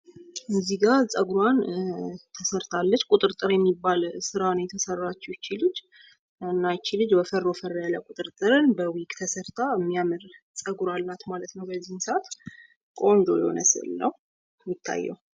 በምስሉ ላይ የምትታየው ልጅ ጸጉሯን ቁጥርጥር የተሰራች ሲሆን ፤ እሱም ወፈር ወፈር ያለና በዊግ የተሰራ ቆንጆና የሚያር ምስል ነው።